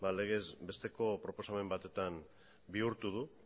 legez besteko proposamen batetan bihurtu du